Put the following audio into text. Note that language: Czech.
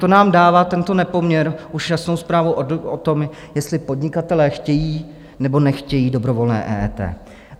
To nám dává, tento nepoměr, už jasnou zprávu o tom, jestli podnikatelé chtějí, nebo nechtějí dobrovolné EET.